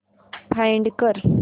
find कर